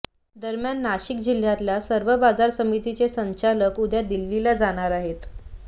दरम्यान नाशिक जिल्हातल्या सर्व बाजार समितीचे संचालक उद्या दिल्लीला जाणार आहेत